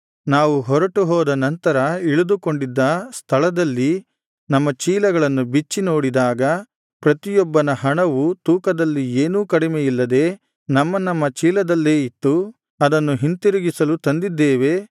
ನಾವು ಹೊರಟುಹೋದ ನಂತರ ಇಳಿದುಕೊಂಡಿದ್ದ ಸ್ಥಳದಲ್ಲಿ ನಮ್ಮ ಚೀಲಗಳನ್ನು ಬಿಚ್ಚಿ ನೋಡಿದಾಗ ಪ್ರತಿಯೊಬ್ಬನ ಹಣವು ತೂಕದಲ್ಲಿ ಏನೂ ಕಡಿಮೆಯಿಲ್ಲದೆ ನಮ್ಮ ನಮ್ಮ ಚೀಲದಲ್ಲೇ ಇತ್ತು ಅದನ್ನು ಹಿಂತಿರುಗಿಸಲು ತಂದಿದ್ದೇವೆ